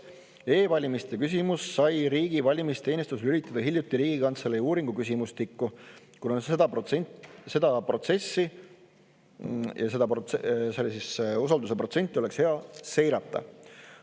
E-valimiste küsimuse sai riigi valimisteenistus lülitada hiljuti Riigikantselei uuringu küsimustikku, kuna seda protsessi ja seda usalduse protsenti oleks hea seirata.